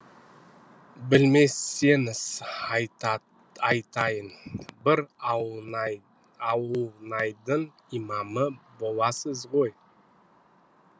білмесеңіз айтайын бір ауылнайдың имамы боласыз ғой